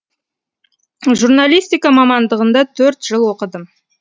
журналистика мамандығында төрт жыл оқыдым